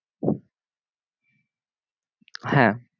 হ্যাঁ